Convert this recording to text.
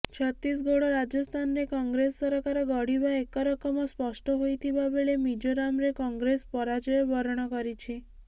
ଛତିଶଗଡ ଓ ରାଜସ୍ଥାନରେ କଂଗ୍ରେସ ସରକାର ଗଢିବା ଏକରକମ ସ୍ପଷ୍ଟ ହୋଇଥିବାବେଳେ ମିଜୋରାମରେ କଂଗ୍ରେସ ପରାଜୟ ବରଣ କରିଛି